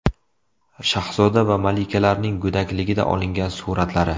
Shahzoda va malikalarning go‘dakligida olingan suratlari .